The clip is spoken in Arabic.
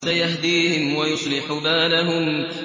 سَيَهْدِيهِمْ وَيُصْلِحُ بَالَهُمْ